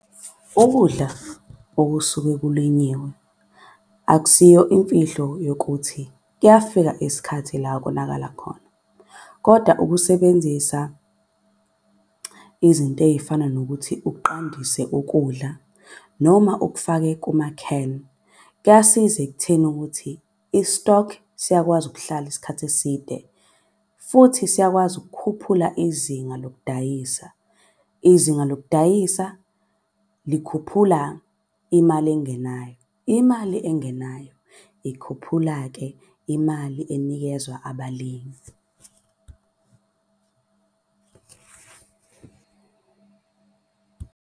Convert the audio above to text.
Ukudla okusuke kulinyiwe akusiyo imfihlo yokuthi kuyafika isikhathi la okonakala khona. Koda ukusebenzisa izinto ey'fana nokuthi uqandise ukudla noma ukufake kuma-can. Kuyasiza ekutheni ukuthi i-stock siyakwazi ukuhlala isikhathi eside futhi siyakwazi ukukhuphula izinga lokudayisa. Izinga lokudayisa likhuphula imali engenayo, imali engenayo ikhuphula-ke imali enikezwa abalimi .